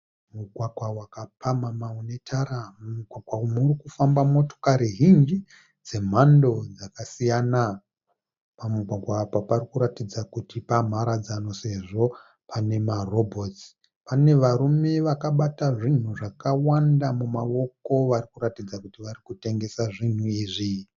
Mugwagwa wakapamhamha une tara mumugwagwa umu murikufamba motokari zhinji dzemhando dzakasiyana. Pamugwagwa apa parikuratidza kuti pamharadzano sezvo pane marobots, pane varume vakabata zvinhu zvakawanda mumaoko varikuratidza kuti varikutengesa zvinhu izvi.